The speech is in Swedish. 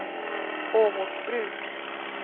Åmotsbruk